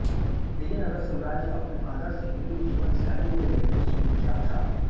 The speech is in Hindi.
विजयनगर साम्राज्य अपनी आदर्श हिन्दू जीवन शैली के लिए विश्वविख्यात था